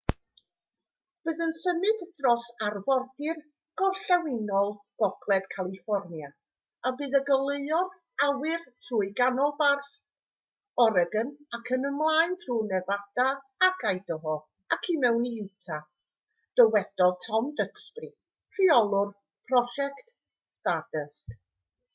bydd yn symud dros arfordir gorllewinol gogledd califfornia a bydd yn goleuo'r awyr trwy ganolbarth oregon ac ymlaen trwy nefada ac idaho ac i mewn i utah dywedodd tom duxbury rheolwr prosiect stardust